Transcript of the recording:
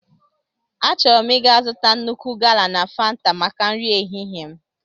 Achọrọ m ịga zụta nnukwu gala na fanta maka nri ehihie m.